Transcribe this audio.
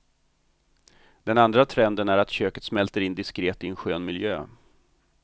Den andra trenden är att köket smälter in diskret i en skön miljö.